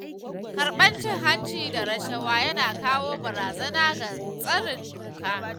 Karɓar cin-hanci da rashawa yana kawo barazana ga tsarin doka.